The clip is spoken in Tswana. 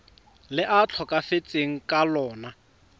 le a tlhokafetseng ka lona